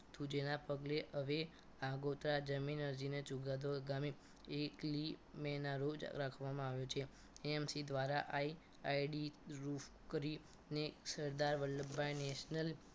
તું જેના પગલે હવે આગોતરા જમીન અરજીનો ચુકાદો ગામે એકલી એક મેના રોજ રાખવામાં આવ્યો છે AMC ધ્વારા આ ID રૂફ કરી ને સરદાર વલ્લભ ભાઈ નેશનલ